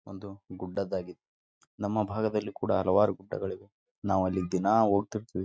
ಒಂದು ಗುಡ್ಡದಾಗಿದೆ ನಮ್ಮ ಭಾಗದಲ್ಲಿ ಕೂಡ ಹಲವಾರು ಗುಡ್ಡಗಳಿವೆ ನಾವಲಗಿ ದಿನ ಹೋಗ್ತಾ ಇರ್ತೀವಿ.